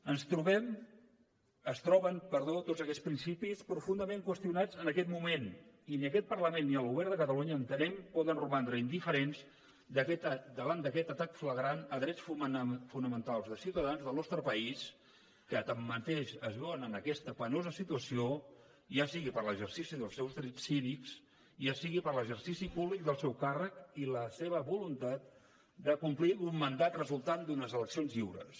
es troben tots aquests principis profundament qüestionats en aquest moment i ni aquest parlament ni el govern de catalunya entenem poden romandre indiferents davant d’aquest atac flagrant a drets fonamentals de ciutadans del nostre país que tanmateix es veuen en aquesta penosa situació ja sigui per a l’exercici dels seus drets cívics ja sigui per a l’exercici públic del seu càrrec i la seva voluntat de complir amb un mandat resultant d’unes eleccions lliures